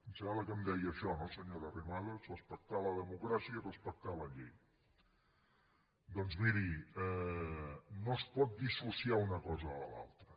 em sembla que em deia això no senyora arrimadas respectar la democràcia i respectar la llei doncs miri no es pot dissociar una cosa de l’altra